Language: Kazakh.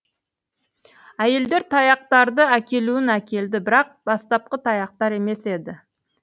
әйелдер таяқтарды әкелуін әкелді бірақ бастапқы таяқтар емес еді